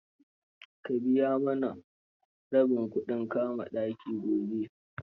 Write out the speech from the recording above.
Ka biya mana rabin kudin kama ɗakin gobe.